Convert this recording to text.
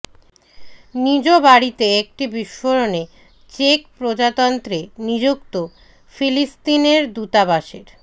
নিজ বাড়িতে একটি বিস্ফোরণে চেক প্রজাতন্ত্রে নিযুক্ত ফিলিস্তিনের দূতাবাসের